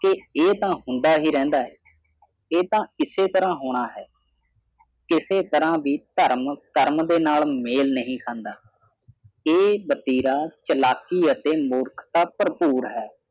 ਕੇ ਇਹ ਤਾਂ ਹੁੰਦਾ ਹੀ ਰਹਿੰਦਾ ਹੈ ਇਹ ਤਾਂ ਇਸੇ ਤਰ੍ਹਾਂ ਹੋਣਾ ਹੈ ਕਿਸੇ ਤਰ੍ਹਾਂ ਵੀ ਧਰਮ ਕਰਮ ਨਾਲ ਮੇਲ ਨਹੀਂ ਖਾਂਦਾ ਇਹ ਵਤੀਰਾ ਚਲਾਕੀ ਅਤੇ ਮੂਰਖਤਾ ਭਰਪੂਰ ਹੈ